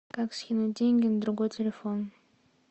как скинуть деньги на другой телефон